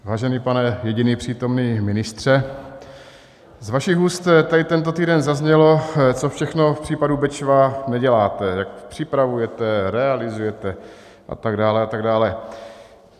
Vážený pane jediný přítomný ministře, z vašich úst tady tento týden zaznělo, co všechno v případu Bečva neděláte, jak připravujete, realizujete a tak dále a tak dále.